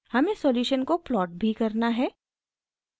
हमें सॉल्यूशन को प्लॉट भी करना है